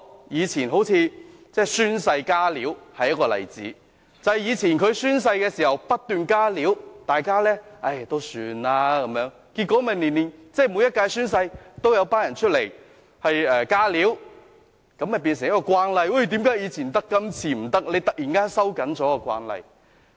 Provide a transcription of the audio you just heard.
以前宣誓"加料"，便是一個例子，正因為以前宣誓時，有議員不斷"加料"，大家也放任不管，結果每一屆宣誓，也有議員"加料"，這樣便成為慣例，然後突然收緊慣例，便會有人問為何以前可以，今次不可以？